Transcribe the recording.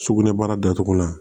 Sugunɛbara datugulan